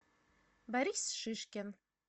борис шишкин